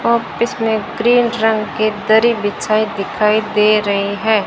और इसमें ग्रीन रंग के दरी बिछाए दिखाई दे रहे हैं।